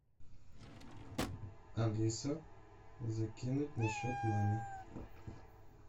алиса закинуть на счет маме